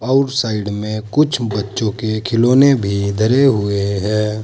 आउर साइड में कुछ बच्चों के खिलौने भी धरे हुए।